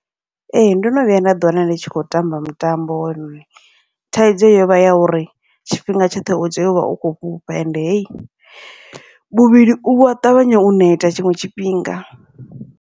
Ee, ndono vhuya nda ḓi wana ndi tshi khou tamba mutambo , thaidzo yovha ya uri tshifhinga tshoṱhe utea uvha utshi khou fhufha, ende hei muvhili uya ṱavhanya u neta tshiṅwe tshifhinga.